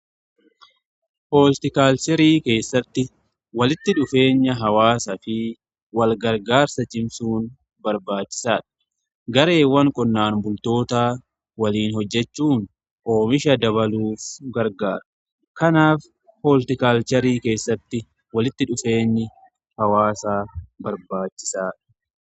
Hooltikaalcherii keessatti walitti dhufeenya hawaasaa fi walgargaarsa cimsuun barbaachisaadha. Gareewwan qonnaan bultoota waliin hojjechuun oomisha dabaluuf gargaara. Kanaaf hooltikaalcherii keessatti walitti dhufeenya hawaasaa barbaachisaadha.